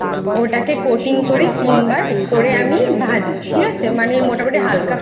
ওটাকে Coating করি তিনবার করে আমি ভাজি ঠিক আছে মানে মোটামুটি হালকা